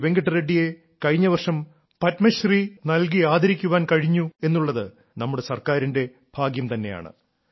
വെങ്കട്ട റെഡ്ഡിയെ കഴിഞ്ഞവർഷം പത്മശ്രീ നൽകി ആദരിക്കാൻ കഴിഞ്ഞു എന്നുള്ളത് നമ്മുടെ സർക്കാരിന്റെ ഭാഗ്യം തന്നെയാണ്